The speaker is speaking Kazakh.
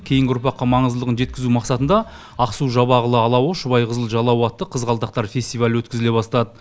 кейінгі ұрпаққа маңыздылығын жеткізу мақсатында ақсу жабағылы алауы шұбайқызыл жалауы атты қызғалдақтар фестивалі өткізіле бастады